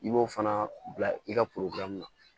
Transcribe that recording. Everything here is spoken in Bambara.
I b'o fana bila i ka na